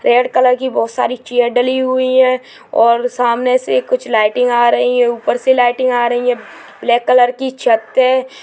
Red colour की बोहत सारी चेयर डली हुई है और सामने से कुछ लाइटिंग आ रही है ऊपर से लाइटिंग आ रही है ब्लैक कलर की छत है।